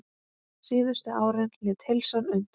Síðustu árin lét heilsan undan.